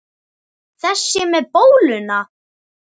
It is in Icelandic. Þessi með bóluna?